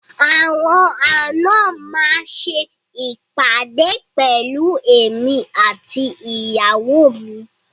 Àwọn àna máa ṣe ìpàdé pẹ̀lú èmi àti ìyàwó mi.